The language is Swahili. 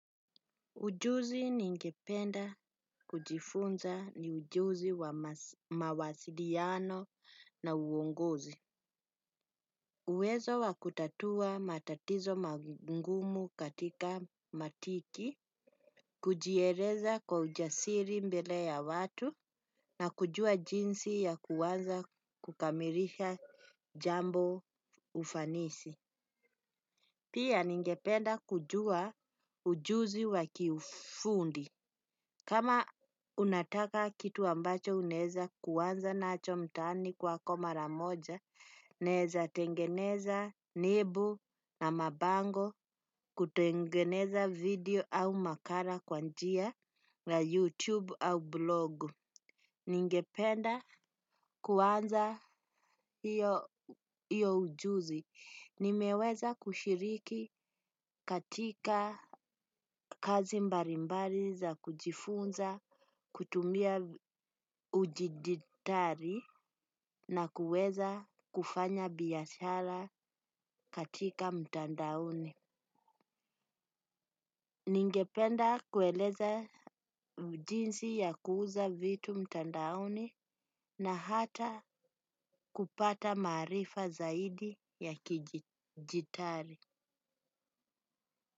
Ujuzi ningependa kujifunza ni ujuzi wa mawasiliano na uongozi. Uwezo wa kutatua matatizo magumu katika matiki, kujieleza kwa ujasiri mbele ya watu na kujua jinsi ya kuwaza kukamilisha jambo ufanisi. Pia ningependa kujua ujuzi wa kifundi. Kama unataka kitu ambacho unaeza kuanza nacho mtaani kwako mara moja, naeza tengeneza nebu na mabango, kutengeneza video au makara kwa njia na YouTube au blog. Ningependa kuanza hiyo ujuzi. Nimeweza kushiriki katika kazi mbalimbali za kujifunza kutumia udijtari na kuweza kufanya biyashara katika mtandaoni. Ningependa kueleza jinsi ya kuuza vitu mtandaoni na hata kupata maarifa zaidi ya kijidtari.